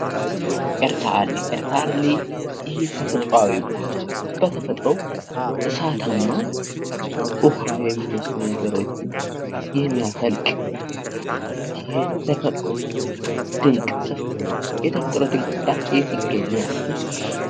ኤርታሌ:- ኤርታሌ ይሄ ተፈጥሯዊ ቦታ በተፈጥሮዉ እሳታማ ዉኃ የሚመስሉ ነገሮችን የሚያፈልቅ የተፈጥሮ ድንቅ ስፍራ ነዉ። የተፈጥሮ ድንቅ ስፍራ የት ይገኛል?